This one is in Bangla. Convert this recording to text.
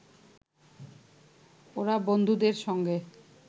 ওরা বন্ধুদের সঙ্গে